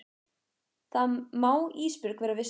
Það má Ísbjörg vera viss um.